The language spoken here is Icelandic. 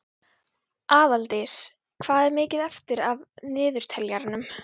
Aðaldís, hvað er mikið eftir af niðurteljaranum?